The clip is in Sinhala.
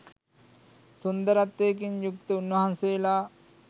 සුන්දරත්වයකින් යුක්ත උන්වහන්සේලා